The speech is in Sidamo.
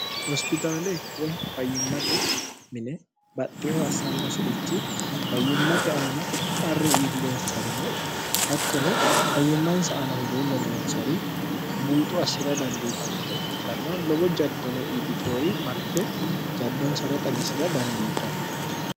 hospixaale woy fayyimmate mine baxxiho assannosi'richi fayyimmate aana qarru iillihonsarino hattono fayyimmansa anahuluullo noonsari buuxu assira dandiitannowa ikkitanna lobo jaddono iillitihori marte jaddonsara xagisira dandiitanno